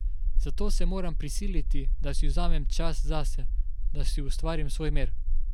Zato se moram prisiliti, da si vzamem čas zase, da si ustvarim svoj mir.